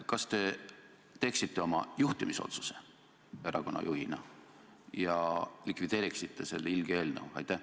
Kas te teeksite oma juhtimisotsuse erakonna juhina ja likvideeriksite selle ilge eelnõu?